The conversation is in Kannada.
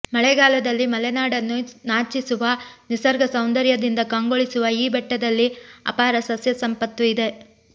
ಮಳೆಗಾಲದಲ್ಲಿ ಮಲೆನಾಡನ್ನೂ ನಾಚಿಸುವ ನಿಸರ್ಗ ಸೌಂದರ್ಯದಿಂದ ಕಂಗೊಳಿಸುವ ಈ ಬೆಟ್ಟದಲ್ಲಿ ಅಪಾರ ಸಸ್ಯ ಸಂಪತ್ತು ಇದೆ